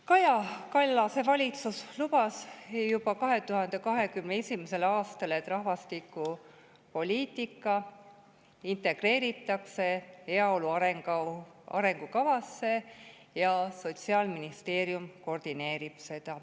Kaja Kallase valitsus lubas juba 2021. aastal, et rahvastikupoliitika integreeritakse heaolu arengukavasse ja seda hakkab koordineerima Sotsiaalministeerium.